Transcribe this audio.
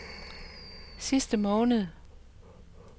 sidste måned